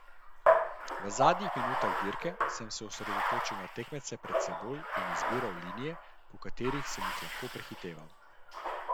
V zadnjih minutah dirke sem se osredotočil na tekmece pred seboj in izbiral linije, po katerih sem jih lahko prehiteval.